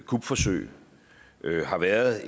kupforsøg har været